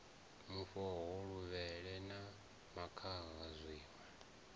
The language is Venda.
mufhoho luvhele na makhaha zwiṋwe